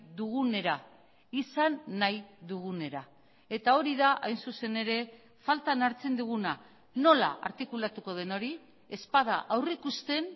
dugunera izan nahi dugunera eta hori da hain zuzen ere faltan hartzen duguna nola artikulatuko den hori ez bada aurrikusten